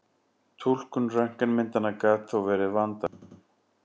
Túlkun röntgenmyndanna gat þó verið vandasöm.